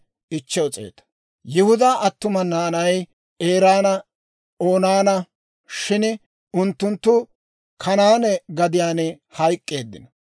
Yihudaa attuma naanay Eeranne Oonaana; shin unttunttu Kanaane gadiyaan hayk'k'eeddino.